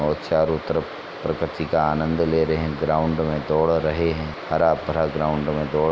और चारो तरफ प्रकृति का आनंद ले रहे हैं। ग्राउंड में दौड़ रहे हैं। हरा-भरा ग्राउंड में दौड़ --